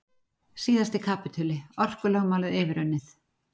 Síðasti kapítuli- orkulögmálið yfirunnið